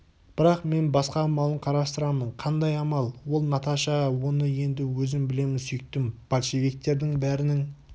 бірақ мен басқа амалын қарастырамын қандай амал ол наташа оны енді өзім білемін сүйіктім большевиктердің бәрінің